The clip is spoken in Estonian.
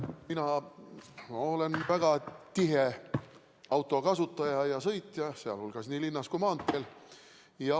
Mina olen väga tihe autokasutaja ja -sõitja nii linnas kui ka maanteel.